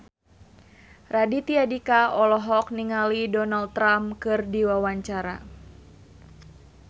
Raditya Dika olohok ningali Donald Trump keur diwawancara